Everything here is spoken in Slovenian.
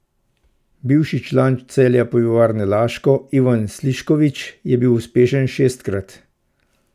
Bivši član Celja Pivovarne Laško, Ivan Slišković, je bil uspešen šestkrat.